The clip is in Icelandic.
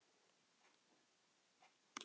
En það var eins og að skvetta vatni á gæs.